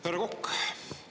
Härra Kokk!